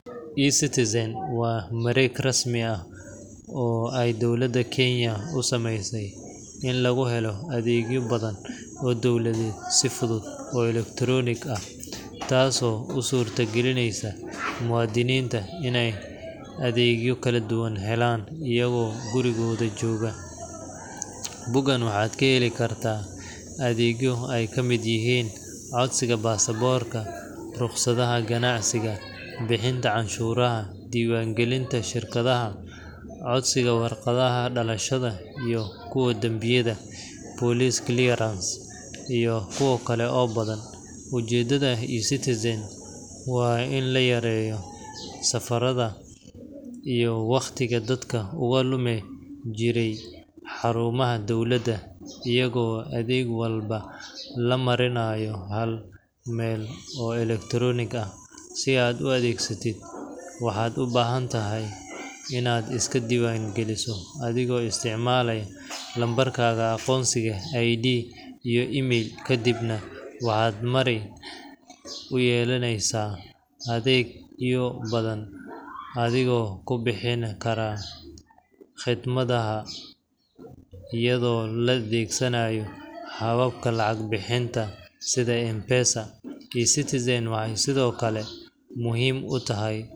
E citizen waa wareegg rasmi ah, oo ay dowlaada kenya u sameyse in lagu helo athegyo badan, oo dowladheed sifudhud oo electronic ah, taso u surta galineysa muadhinitu in athegyo kala duwan helan iyago gurigodha jogaa, bogan waxaa ka heli kartaa athegyo ee kamiid yihin codsiga basaborka, ruqsadhaha ganacsiga bixinta canshuraha, diwan galinta shirkadhaha codsiga, waraqadhaha dalashaada iyo kuwa danbiyaadha police clearance [cs,]iyo kuwa kale oo badan, ujedadha e citizen waa in la yareyo safaradha iyo waqtiga dadka oga lumi jire xarumaha dowlaada, iyago adheg walba lamarinayo hal meel oo electric ah aad u adhegsatiid, waxaa u bahantahay in aad iska diwan galiso athigo isticmalaya numberkaga aqonsiga ah ee ID iyo email ka, waxaa awaal marin uyelaneysa atheg athigo kubixini karaa qidmadhada, adhigo adhegsanaya hababka lacag bixinta, sitha mpesa e citizen waxaa sithokale muhiim utahay.